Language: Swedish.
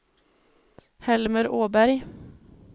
Helmer Åberg